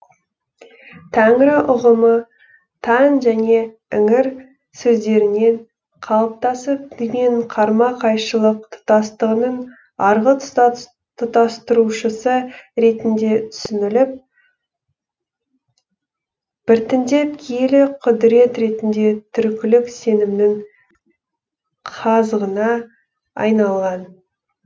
тәңірі ұғымы таң және іңір сөздерінен қалыптасып дүниенің қарма қайшылық тұтастығының арғы тұтастырушысы ретінде түсініліп біртіндеп киелі құдірет ретінде түркілік сенімнің қазығына айналған